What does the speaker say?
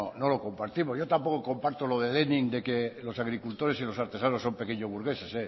no lo compartimos yo tampoco comparto lo de de que los agricultores y los artesanos son pequeños burgueses